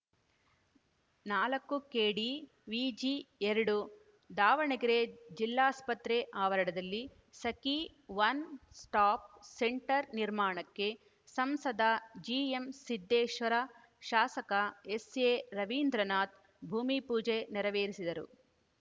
ನಾಲ್ಕು ಕೆಡಿವಿಜಿ ಎರಡು ದಾವಣಗೆರೆ ಜಿಲ್ಲಾಸ್ಪತ್ರೆ ಆವರಣದಲ್ಲಿ ಸಖೀ ಒನ್ ಸ್ಟಾಪ್‌ ಸೆಂಟರ್‌ ನಿರ್ಮಾಣಕ್ಕೆ ಸಂಸದ ಜಿಎಂಸಿದ್ದೇಶ್ವರ ಶಾಸಕ ಎಸ್‌ಎರವೀಂದ್ರನಾಥ್‌ ಭೂಮಿಪೂಜೆ ನೆರವೇರಿಸಿದರು